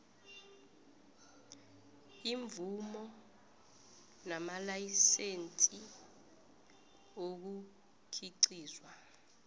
iimvumo namalayisense ukukhiqizwa